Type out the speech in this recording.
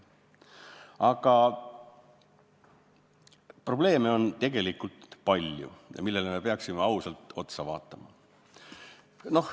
Aga probleeme on tegelikult palju, millele me peaksime ausalt otsa vaatama.